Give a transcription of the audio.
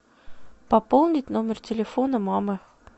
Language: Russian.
пополнить номер телефона мамы